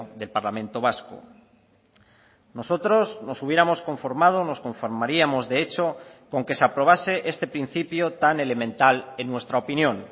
del parlamento vasco nosotros nos hubiéramos conformado nos conformaríamos de hecho con que se aprobase este principio tan elemental en nuestra opinión